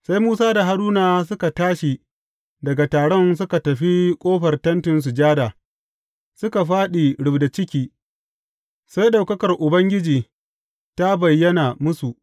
Sai Musa da Haruna suka tashi daga taron, suka tafi ƙofar Tentin Sujada, suka fāɗi rubda ciki, sai ɗaukakar Ubangiji ta bayyana musu.